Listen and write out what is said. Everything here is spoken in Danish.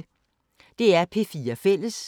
DR P4 Fælles